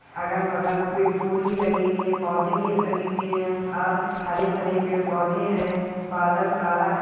अगल-बगल भी फूल भी लगे हुए है पौधे लगे हुए है और हरे भरे पेड़-पौधे भी है बादल काला है।